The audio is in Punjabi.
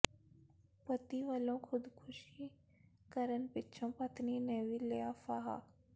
ਪਤੀ ਵਲੋਂ ਖ਼ੁਦਕੁਸ਼ੀ ਕਰਨ ਪਿਛੋਂ ਪਤਨੀ ਨੇ ਵੀ ਲਿਆ ਫਾਹਾ